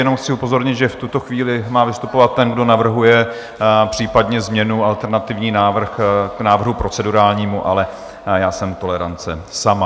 Jenom chci upozornit, že v tuto chvíli má vystupovat ten, kdo navrhuje případně změnu, alternativní návrh k návrhu procedurální, ale já jsem tolerance sama.